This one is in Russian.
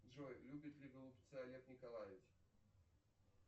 джой любит ли голубцы олег николаевич